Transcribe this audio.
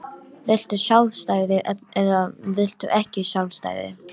Viltu sjálfstæði eða viltu ekki sjálfstæði?